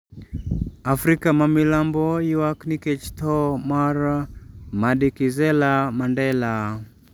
Afrika ma milambo ywak nikech tho mar Madikizela Mandela